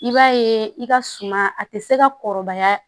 I b'a ye i ka suma a tɛ se ka kɔrɔbaya